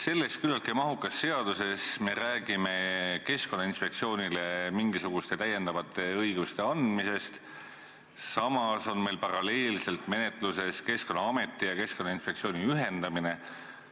Selles küllaltki mahukas seaduses me räägime Keskkonnainspektsioonile mingisuguste täiendavate õiguste andmisest, samas on meil paralleelselt menetluses Keskkonnaameti ja Keskkonnainspektsiooni ühendamine.